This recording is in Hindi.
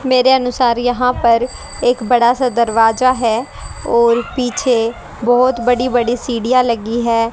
मेरे अनुसार यहां पर एक बड़ा सा दरवाजा है और पीछे बहोत बड़ी बड़ी सीढ़ियां लगी है।